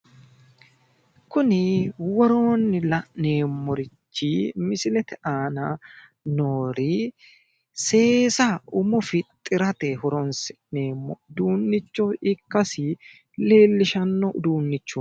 Kuni woroonni la'neemmorichi misilete aana noori seesa umo fixxirate horonsi'neemmo uduunnicho ikkasi leellishshanno uduunnichooti.